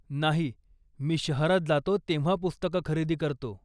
नाही. मी शहरात जातो तेव्हा पुस्तकं खरेदी करतो.